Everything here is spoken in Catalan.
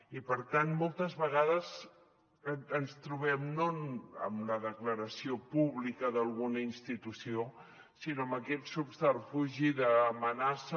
i per tant moltes vegades ens trobem no amb la declaració pública d’alguna institució sinó amb aquest subterfugi d’amenaça